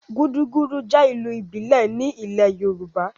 Gudugudu jẹ́ ìlù ìbílẹ̀ ní ilẹ̀ yoòbá